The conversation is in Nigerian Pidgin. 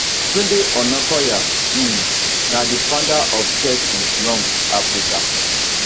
tunde onakoya um na di founder of chess in slums africa